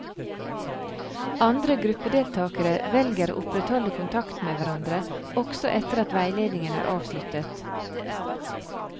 Andre gruppedeltakere velger å opprettholde kontakten med hverandre også etter at veiledningen er avsluttet.